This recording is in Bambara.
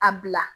A bila